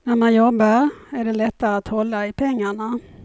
När man jobbar är det lättare att hålla i pengarna.